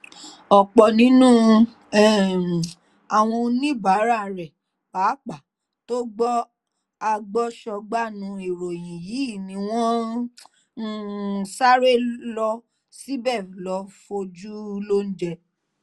ọ̀pọ̀ nínú um àwọn oníbàárà rẹ̀ pàápàá tó gbọ́ agbọ̀sọgbànú ìròyìn yìí ni wọ́n um sáré lọ síbẹ̀ lọ́ọ́ fojú lóúnjẹ